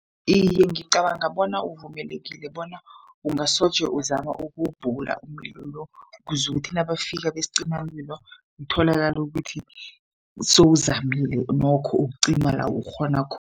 Iye, ngicabanga bona uvumelekile bona ungasoje uzama ukuwubhula umlilo lo. Kuze ukuthi nabafika besicimamlilo, kutholakale ukuthi sowuzamile nokho ukucima la ukghona